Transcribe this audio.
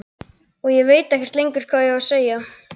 Og ég veit ekkert lengur hvað ég á að segja.